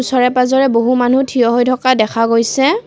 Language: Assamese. ওচৰে-পাজৰে বহু মানুহ থিয় হৈ থকা দেখা গৈছে।